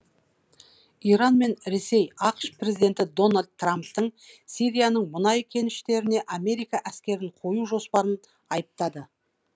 иран мен ресей ақш президенті дональд трамптың сирияның мұнай кеніштеріне америка әскерін қою жоспарын айыптады